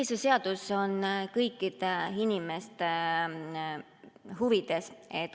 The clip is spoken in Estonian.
Ei, see seadus on kõikide inimeste huvides.